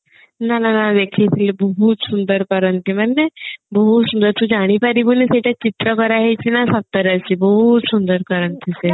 ନା ନା ନା ଦେଖେଇଥିଲେ ବହୁତ ସୁନ୍ଦର କରନ୍ତି ମାନେ ବହୁତ ସୁନ୍ଦର ତୁ ଜାଣିପାରିବୁନି କୋଉଟା ଚିତ୍ର କରା ହେଇଛି ନା ସତରେ ଅଛି ବହୁତ ସୁନ୍ଦର କରନ୍ତି ସେ